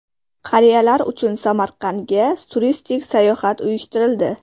Qariyalar uchun Samarqandga turistik sayohat uyushtirildi.